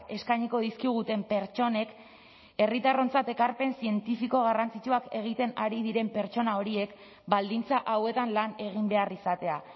eskainiko dizkiguten pertsonek herritarrontzat ekarpen zientifiko garrantzitsuak egiten ari diren pertsona horiek baldintza hauetan lan egin behar izatea